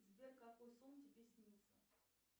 сбер какой сон тебе снился